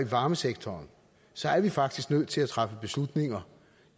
varmesektoren så er vi faktisk nødt til at træffe beslutninger